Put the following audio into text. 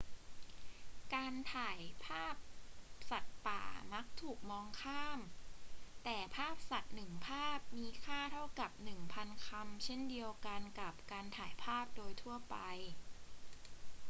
การถ่ายภาพสัตว์ป่ามักถูกมองข้าม แต่ภาพสัตว์หนึ่งภาพมีค่าเท่ากับหนึ่งพันคำเช่นเดียวกับการถ่ายภาพโดยทั่วไป